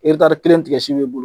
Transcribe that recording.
kelen tigɛsi b'e bolo